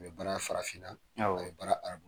U bɛ baara farafinna, awɔ, u bɛ baara arabula.